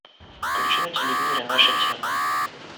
включи на телевизоре наша тема